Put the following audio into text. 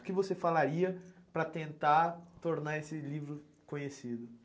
O que você falaria para tentar tornar esse livro conhecido?